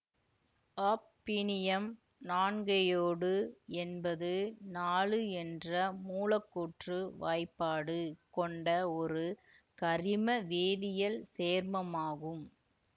hafnium நான்கையோடு என்பது நாலு என்ற மூலக்கூற்று வாய்ப்பாடு கொண்ட ஒரு கரிம வேதியியல் சேர்மமாகும்